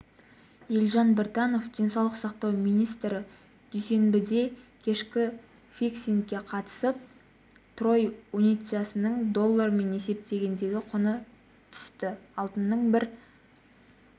елжан біртанов денсаулық сақтау министрі дүйсенбідегікешкі фиксингке қатысты трой унциясының доллармен есептегендегі құны түсті алтынның бір